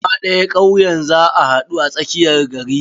Gaba ɗaya kauyen za a haɗu a tsakiyar gari.